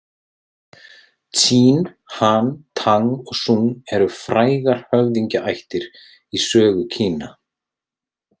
Tsín, Han, Tang og Súng eru frægar höfðingjættir í sögu Kína.